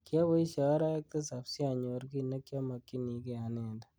Kiaboishe arawek tisab si anyor ki nekyamakyinikei anendet.